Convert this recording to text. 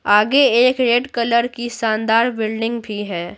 आगे एक red colour की शानदार बिल्डिंग भी है।